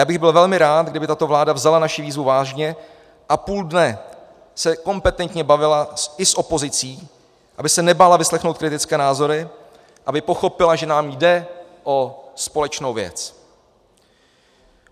Já bych byl velmi rád, kdyby tato vláda vzala naši výzvu vážně a půl dne se kompetentně bavila i s opozicí, aby se nebála vyslechnout kritické názory, aby pochopila, že nám jde o společnou věc.